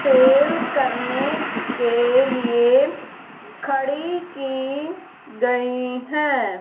Cell करने के लिए खड़ी की गई है।